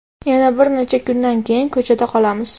yana bir necha kundan keyin ko‘chada qolamiz.